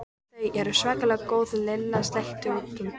Þau eru svakalega góð Lilla sleikti út um.